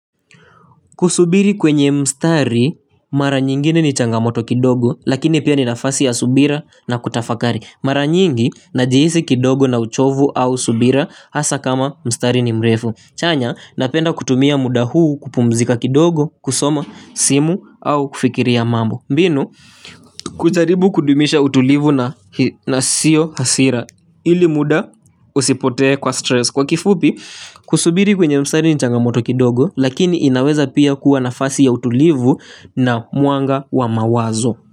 Kusubiri kwenye mstari, mara nyingine ni changamoto kidogo, lakini pia ninafasi ya subira na kutafakari. Mara nyingi, najihisi kidogo na uchovu au subira, hasa kama mstari ni mrefu. Chanya, napenda kutumia muda huu kupumzika kidogo, kusoma, simu, au kufikiria mambo. Mbinu, kujaribu kudumisha utulivu na siyo hasira, ili muda usipotee kwa stress. Kwa kifupi kusubiri kwenye mstari ni changamoto kidogo lakini inaweza pia kuwa nafasi ya utulivu na mwanga wa mawazo.